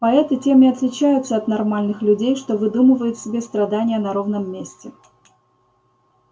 поэты тем и отличаются от нормальных людей что выдумывают себе страдания на ровном месте